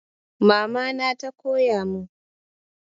Mama na ta koya mun